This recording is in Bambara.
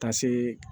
Ka se